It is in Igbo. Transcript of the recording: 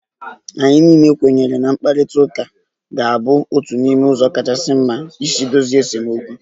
Anyị niile kwenyere na mkparịta ụka ka ga-abụ otu n'ime ụzọ kachasị mma isi dozie esemokwu